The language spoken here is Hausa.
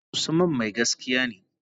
Usman mai gaskiya ne.